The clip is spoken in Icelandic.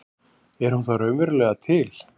Er hún þá raunverulega til?